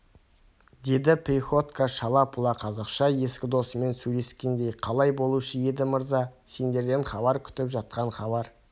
деді приходько шала-пұла қазақша ескі досымен сөйлескендей қалай болушы еді мырза сендерден хабар күтіп жатқан хабар